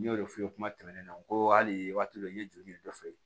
N y'o de f'i ye kuma tɛmɛnen na n ko hali waati dɔ la n ye joli ɲini dɔ fɛ